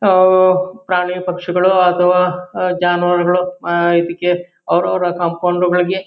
ಆಹ್ಹ್ ಪ್ರಾಣಿ-ಪಕ್ಷಿಗಳು ಅಥವಾ ಆಹ್ಹ್ ಜಾನುವಾರುಗಳು ಆಹ್ಹ್ ಇದಿಕ್ಕೆ ಅವ್ರ್ ಅವರ ಕಾಂಪೌಡ್ ಗಳಿಗೆ--